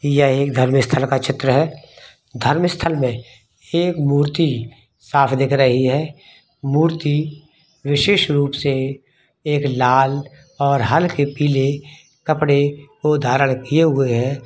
यह एक धार्मिक स्थल का चित्र है धार्मिक स्थल में एक मूर्ति साफ़ दिख रही है मूर्ति विशेष रूप से एक लाल और हलके पिले कपड़े को धारण किये हुए है।